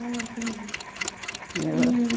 Ah, entendi. E...